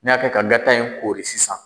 N y'a kɛ ka gata in koori sisan.